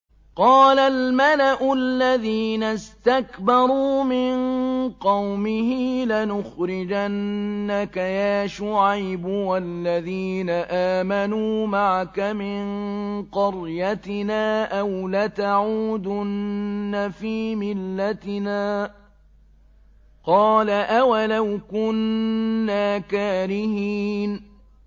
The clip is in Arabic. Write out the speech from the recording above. ۞ قَالَ الْمَلَأُ الَّذِينَ اسْتَكْبَرُوا مِن قَوْمِهِ لَنُخْرِجَنَّكَ يَا شُعَيْبُ وَالَّذِينَ آمَنُوا مَعَكَ مِن قَرْيَتِنَا أَوْ لَتَعُودُنَّ فِي مِلَّتِنَا ۚ قَالَ أَوَلَوْ كُنَّا كَارِهِينَ